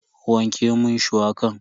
Wanke mun shuwakan.